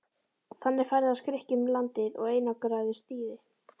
Þannig ferðaðist Grikkinn um landið og einangraði stýri.